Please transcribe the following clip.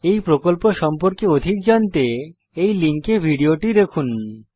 এই প্রকল্প সম্পর্কে অধিক জানতে এই লিঙ্কে ভিডিওটি দেখুন